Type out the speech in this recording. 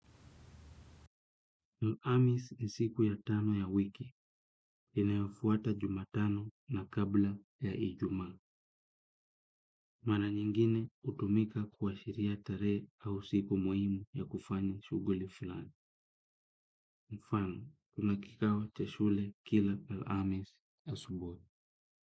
El Amis ni siku ya tano ya wiki, inayofuata Jumatano na kabla ya Ijumaa. Mara nyingine utumika kuwa shiria tarehe au siku muhimu ya kufanya shughuli fulani. Mfano, tunakikao cha shule kila El Amis ya usubuhi.